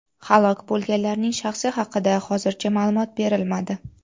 Halok bo‘lganlarning shaxsi haqida hozircha ma’lumot berilmadi.